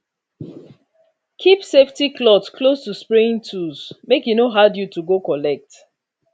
keep safety cloth close to spraying tools make e no hard you to go collect